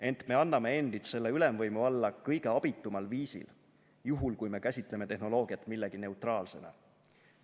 Ent me anname endid selle ülemvõimu alla kõige abitumal viisil, juhul kui me käsitleme tehnoloogiat millegi neutraalsena.